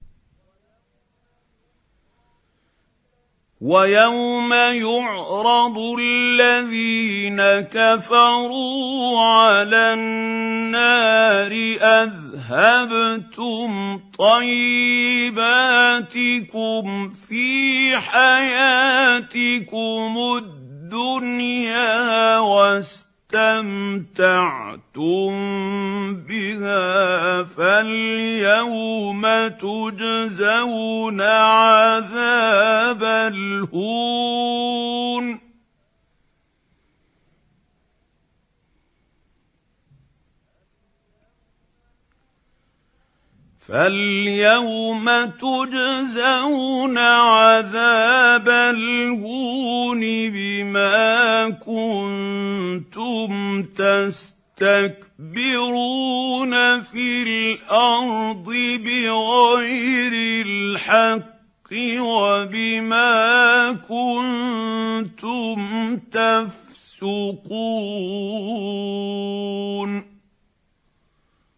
وَيَوْمَ يُعْرَضُ الَّذِينَ كَفَرُوا عَلَى النَّارِ أَذْهَبْتُمْ طَيِّبَاتِكُمْ فِي حَيَاتِكُمُ الدُّنْيَا وَاسْتَمْتَعْتُم بِهَا فَالْيَوْمَ تُجْزَوْنَ عَذَابَ الْهُونِ بِمَا كُنتُمْ تَسْتَكْبِرُونَ فِي الْأَرْضِ بِغَيْرِ الْحَقِّ وَبِمَا كُنتُمْ تَفْسُقُونَ